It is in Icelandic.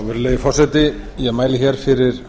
virðulegi forseti ég mæli hér fyrir